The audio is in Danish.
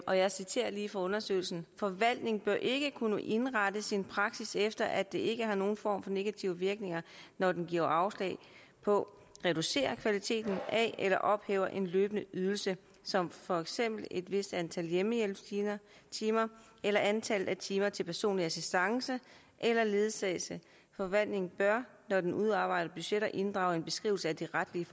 og jeg citerer lige fra undersøgelsen forvaltningen bør ikke kunne indrette sin praksis efter at det ikke har nogen form for negative virkninger når den giver afslag på reducerer kvaliteten af eller ophæver en løbende ydelse som for eksempel et vist antal hjemmehjælpstimer eller antallet af timer til personlig assistance eller ledsagelse forvaltningen bør når den udarbejder budgetter inddrage en beskrivelse af de retlige